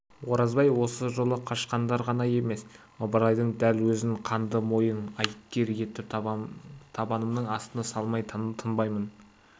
оразбай осы жолы қашқындар ғана емес ыбырайдың дәл өзін қанды мойын айыпкер етіп табанымның астына салмай тынбаймын